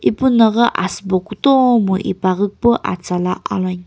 ipuna ghi asübo kutomo ipaghi pu atsala aloin.